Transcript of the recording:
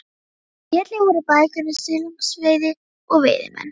Í hillum voru bækur um silungsveiði og veiðimenn.